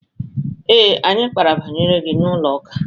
Ee, anyị kpara banyere gi n'ụlọ ụka.